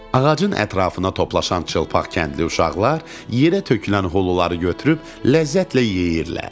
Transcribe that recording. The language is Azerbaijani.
Ağacın ətrafına toplaşan çılpaq kəndli uşaqlar yerə tökülən huluları götürüb ləzzətlə yeyirlər.